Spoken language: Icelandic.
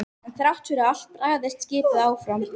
En þrátt fyrir allt barðist skipið áfram.